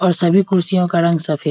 और सभी कुर्सियों का रंग सफेद --